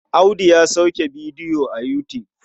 Audu ya sauke bidiyo a Yutub.